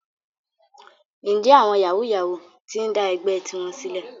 Ǹjẹ́ àwọn yàwúú-yawuù ti ń dá ẹgbẹ́ tiwọn sílẹ̀?